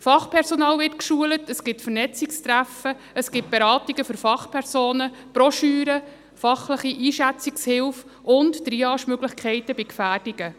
Fachpersonal wird geschult, es gibt Vernetzungstreffen, es gibt Beratungen für Fachpersonen, Broschüren, fachliche Einschätzungshilfen und Triage-Möglichkeiten bei Gefährdungen.